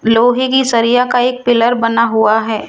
लोहे की सरिया का एक पिलर बना हुआ है।